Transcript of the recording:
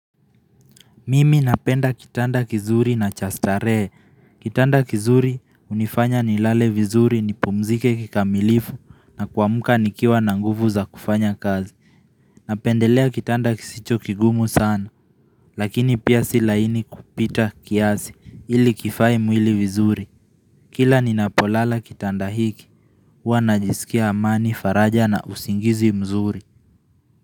Mimi napenda kitanda kizuri na cha starehe. Kitanda kizuri unifanya ni lale vizuri ni pumzike kikamilifu na ku amuka nikiwa na nguvu za kufanya kazi. Napendelea kitanda kisicho kigumu sana. Lakini pia si laini kupita kiasi ili kifae mwili vizuri. Kila ninapo lala kitanda hiki. Hua najisikia amani faraja na usingizi mzuri.